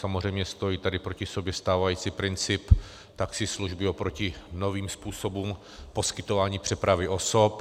Samozřejmě stojí tady proti sobě stávající princip taxislužby oproti novým způsobům poskytování přepravy osob.